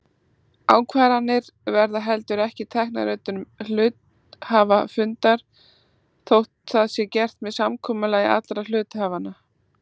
Ákvarðanir verða heldur ekki teknar utan hluthafafundar þótt það sé gert með samkomulagi allra hluthafanna.